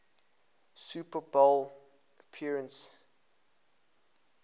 super bowl appearance